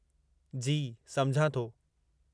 जी, सम्झां थो।